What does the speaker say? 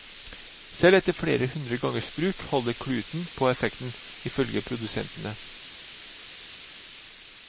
Selv etter flere hundre gangers bruk holder kluten på effekten, i følge produsentene.